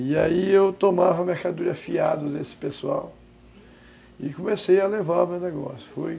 E aí eu tomava mercadorias fiado desse pessoal e comecei a levar o meu negócio, fui